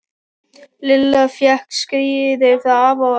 Lilla fékk skíði frá afa og ömmu.